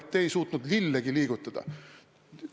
Teie ei suutnud lillegi liigutada.